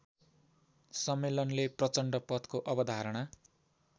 सम्मेलनले प्रचण्डपथको अवधारणा